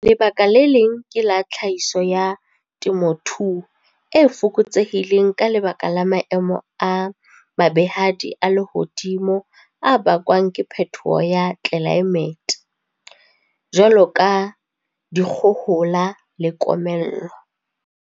Lebaka le leng ke la tlhahiso ya temothuo e fokotsehileng ka lebaka la maemo a mabehadi a lehodimo a bakwang ke phetoho ya tlelaemete, jwalo ka dikgohola le komello.